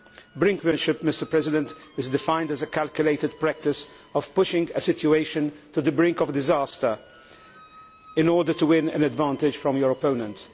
Brinkmanship' is defined as a calculated practice of pushing a situation to the brink of disaster in order to win an advantage from your opponent.